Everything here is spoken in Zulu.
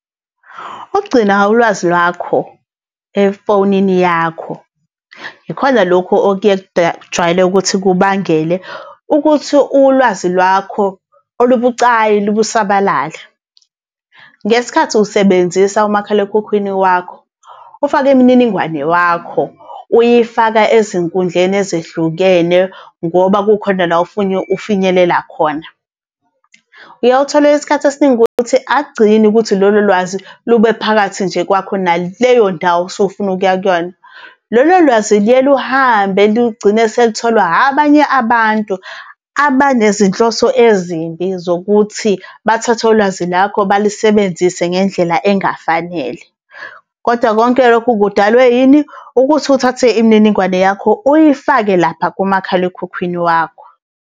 Ukugcina ulwazi lwakho, efonini yakho, yikhona lokhu jwayele ukuthi kubangele ukuthi ulwazi lwakho olubucayi lusabalale. Ngesikhathi usebenzisa umakhalekhukhwini wakho, ufake imininingwane wakho, uyifaka ezinkundleni ezehlukene ngoba kukhona la ofuna ukufinyelela khona. Uyawuthole isikhathi esiningi ukuthi akugcini ukuthi lolo lwazi lube phakathi nje kwakho naleyo ndawo osuke ufuna ukuya kuyona. Lolo lwazi luye luhambe lugcine selitholwa abanye abantu abanezinhloso ezimbi zokuthi bathathe ulwazi lwakho balisebenzise ngendlela engafanele. Kodwa konke lokho kudalwe yini? Ukuthi uthathe imininingwane yakho uyifake lapha kumakhalekhukhwini wakho.